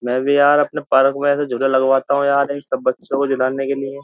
मैं भी यार अपने पार्क में ऐसे झूले लगवाता हूं यार इन सब बच्चों को झुलाने के लिए --